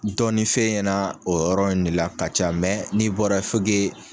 Dɔɔnin f'e ɲɛna o yɔrɔ in de la ka ca mɛ n'i bɔra fo ke